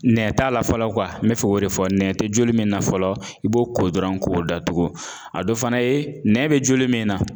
Nɛn t'a la fɔlɔ n bɛ fɛ k'o de fɔ nɛn tɛ joli min na fɔlɔ i b'o ko dɔrɔn k'o datugu a dɔ fana ye nɛn bɛ joli min na